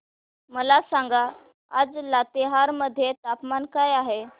मला सांगा आज लातेहार मध्ये तापमान काय आहे